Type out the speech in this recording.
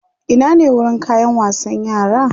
Ina ne wurin kayan wasan yara?